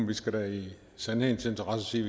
vi skal da i sandhedens interesse sige